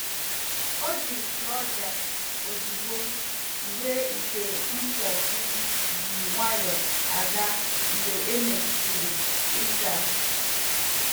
Ọ jiri plonja ozugbo mgbe ite mposi ji nwanyo aga mgbe e mesịrị ịsa.